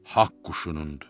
Haqq quşunundur.